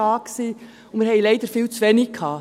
Wir hatten leider viel zu wenige.